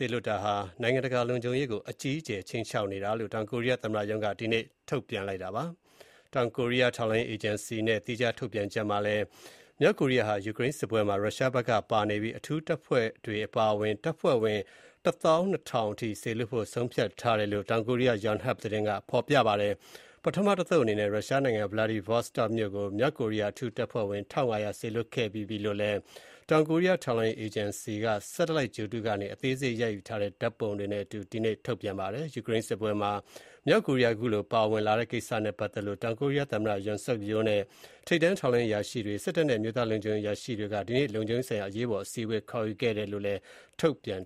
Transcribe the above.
ေလွှတ်တာဟာ နိုင်ငံတကာ လုံခြုံရေးကို အကြီးအကျယ် ခြိမ်းခြောက်နေတာ ဖြစ်တယ်လို့ တောင်ကိုရီးယား သမ္မတရုံးက ဒီကနေ့ ကြေညာချက် ထုတ်ပြန်လိုက်ပါတယ်။ တောင်ကိုရီးယား ထောက်လှမ်းရေးအေဂျင်စီရဲ့ သီးခြား ထုတ်ပြန်ချက်မှာလည်း မြောက်ကိုရီးယားဟာ ယူကရိန်းစစ်ပွဲမှာ ရုရှားဘက်က ပါဝင်နေပြီး အထူး တပ်ဖွဲ့တွေ အပါအဝင် တပ်ဖွဲ့ဝင် ၁၂,၀၀၀ စေလွှတ်ဖို့ ဆုံးဖြတ်ထားတဲ့အကြောင်း တောင်ကိုရီယား Yonhap သတင်းက ဖော်ပြပါတယ်။ ပထမတသုတ် အနေနဲ့ ရုရှားနိုင်ငံ Vladivostok မြို့ကို မြောက်ကိုရီးယား အထူးတပ်ဖွဲ့ဝင် ၁,၅၀၀ စေလွှတ်ခဲ့ပြီးပြီလို့လည်း တောင်ကိုရီးယား ထောက်လှမ်းရေးအေဂျင်စီက (satellite) ဂြိုဟ်တုကနေ အသေးစိတ် ရိုက်ယူထားတဲ့ ပုံတွေနဲ့အတူ ဒီကနေ့ ထုတ်ပြန်ပါတယ်။ ယူကရိန်းစစ်ပွဲမှာ မြောက်ကိုရီးယား ခုလို ပါဝင်လာတဲ့ ကိစ္စနဲ့ပတ်သက်လို့ တောင်ကိုရီးယား သမ္မတ Yoon Suk Yeol နဲ့ ထိပ်တန်း ထောက်လှမ်းရေး အရာရှိတွေ၊ စစ်တပ်နဲ့ အမျိုးသားလုံခြုံရေး အရာရှိတွေ ဒီကနေ့ လုံခြုံရေးဆိုင်ရာ အရေးပေါ် အစည်းအဝေး ခေါ်ယူခဲ့တဲ့အကြောင်းလည်း ထုတ်ပြန်